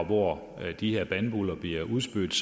hvor de her bandbuller bliver udspydt